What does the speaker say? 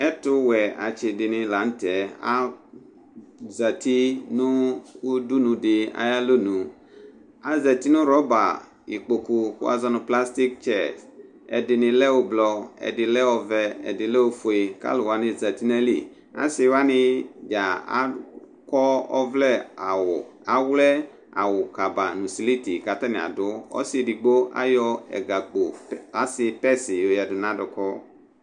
ɛtu atsi dini la nu tɛ azati nu udunu di ayalɔnu , azati nu rɔba kpoku wʋa zɔ nu plastik tsɛs, ɛdini lɛ ublɔ, ɛdini lɛ ɔvɛ, ɛdini lɛ ofue kalu wʋani zati ayili , asi dza akɔ ɔvlɛ awu, awlɛ awu kaba nu siliti katani adu, ɔsi edigbo ayɔ ɛga kpo asi tɛsi yoyadu nu aduku